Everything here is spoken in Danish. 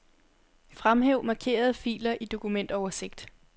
Fremhæv markerede filer i dokumentoversigt.